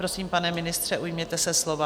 Prosím, pane ministře, ujměte se slova.